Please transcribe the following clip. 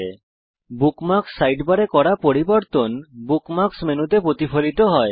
আপনার দ্বারা বুকমার্কস সাইডবারে করা পরিবর্তনসমূহ বুকমার্কস মেনুতেও প্রতিফলিত হয়